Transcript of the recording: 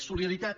solidaritat